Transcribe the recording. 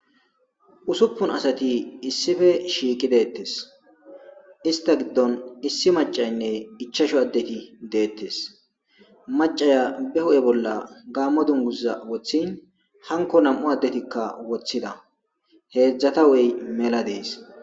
Usuppun asati issife shiiqi deettes ista giddon issi macaynne ichasho addeti deettes macaya be ho7e bolla gaammo dunguza woththin hanko nam7u addetikka woththida heedzdzata woy mela dees